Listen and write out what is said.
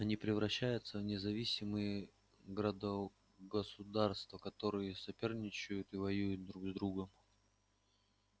они превращаются в независимые градо государства которые соперничают и воюют друг с другом